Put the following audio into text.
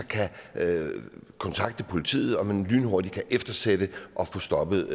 kontakte politiet så man lynhurtigt kan eftersætte og få stoppet